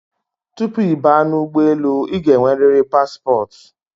Tupu ị baa n'ugboelu, ị ga enweriri paspọt